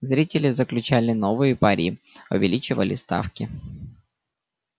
зрители заключали новые пари увеличивали ставки